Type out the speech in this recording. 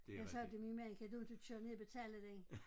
Jeg sagde til min mand kan du ikke køre ned og betale den